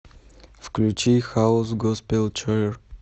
включи хаус госпел чоир